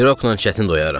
Piroqla çətin doyarəm.